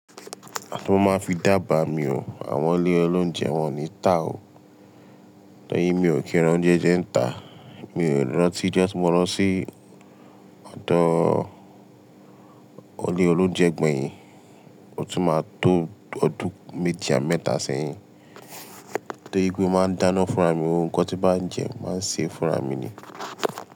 Àti mo máa fi dába mi o, àwọn ilé olóunjẹ wọn o ni tà o. Tọ́ri mi ò kí ra oúnjẹ jẹ́ ń tà, mi ò rántí ijo tí mo lọ sí ọ̀dọ̀ ilé olóunjẹ gbẹ̀yìn, ó tún máa tó ọdún méji abi mẹ́ta sẹ́yìn. Tóri pe mo máa ń dáná fúnra mi, gbogbo nnkan tí bá ń jẹ máa ṣe é fúnra mi ni.